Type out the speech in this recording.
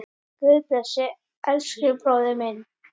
Guð blessi elsku bróður minn.